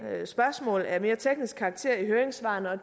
spørgsmål af mere teknisk karakter i høringssvarene og